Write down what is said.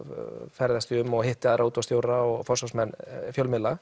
ferðast ég um og hitti aðra útvarpsstjóra og forsvarsmenn fjölmiðla